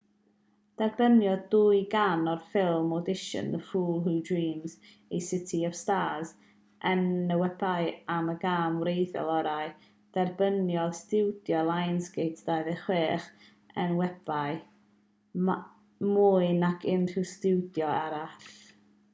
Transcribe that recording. derbyniodd dwy gân o'r ffilm audition the fools who dream a city of stars enwebiadau am y gân wreiddiol orau. derbyniodd stiwdio lionsgate 26 enwebiad - mwy nac unrhyw stiwdio arall